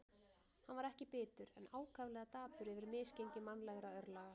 Hann var ekki bitur, en ákaflega dapur yfir misgengi mannlegra örlaga.